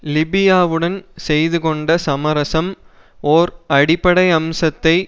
லிபியாவுடன் செய்து கொண்ட சமரசம் ஓர் அடிப்படை அம்சத்தை